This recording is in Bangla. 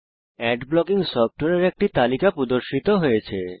আদ ব্লকিং সফ্টওয়্যারের একটি তালিকা প্রদর্শিত হয়েছে